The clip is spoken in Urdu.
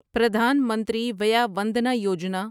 پردھان منتری ویا وندنا یوجنا